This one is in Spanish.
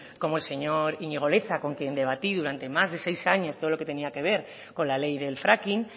como el señor iñigo leza con quien debatí durante más de seis años todo lo que tenía que ver con la ley del fracking